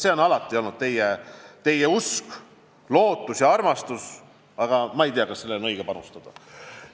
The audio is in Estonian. See on alati olnud teie usk, lootus ja armastus, aga ma ei tea, kas sellele on õige panustada.